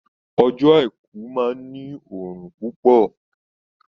Ọjọ́ àìkú máa ní òrùn púpọ̀